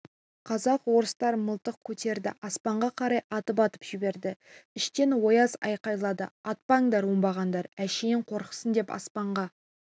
казак-орыстар мылтық көтерді аспанға қарай атып-атып жіберді іштен ояз айқайлады атпаңдар оңбағандар әшейін қорықсын деп аспанға